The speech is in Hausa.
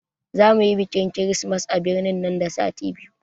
Za muyi bikin kirismas a birni nan da sati biyu